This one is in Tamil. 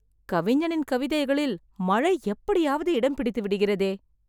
கவிஞனின் கவிதைகளில் மழை எப்படியாவது இடம் பிடித்துவிடுகிறதே...